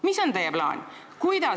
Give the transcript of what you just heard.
Mis on teie plaan?